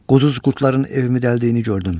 Quzğun qurdların evimi dəldiyini gördüm.